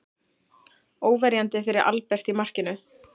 Óverjandi fyrir Albert í markinu.